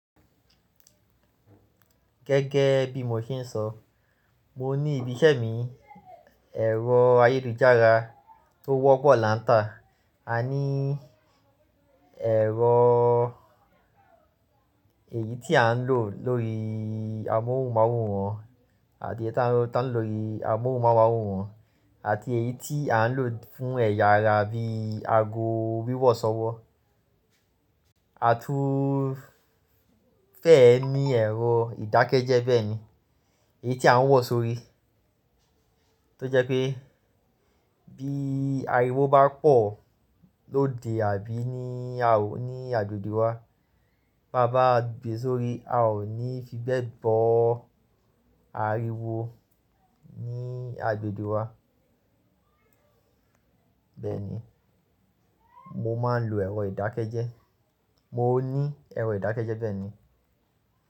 Gẹ́gẹ́ bí mo ṣe ń sọ, mo ní ibi iṣẹ́ mi, ẹ̀rọ ayélujára tó wọ́pọ̀ láńtà. A ní ẹ̀rọ èyí tí à ń lò lórí amóhùnmáwòrán àti ẹ́yi ta ń lọ tá ń lò lórí amóhùnmáwòrán àti èyí tí à ń lò fún ẹ̀yà ara àbí aago wíwọ̀sọwọ́. A tún fẹ́ ní ẹ̀rọ ìdákẹ́jẹ́ bẹ́ẹ̀ ni, èyí tí a ń wọ̀ sórí. Tó jẹ́ pé bí ariwo bá pọ̀ lóde àbí ní a ò ní agbègbè wa, tá bá gbé e sórí a ò ní fi bẹ́ẹ̀ gbọ́ ariwo ní agbègbè wa. Bẹ́ẹ̀ ni, mo máa ń lo ẹ̀rọ ìdákẹ́jẹ́. Mo ní ẹ̀rọ ìdákẹ́jẹ́ bẹ́ẹ̀ ni.